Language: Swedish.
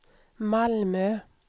Malmö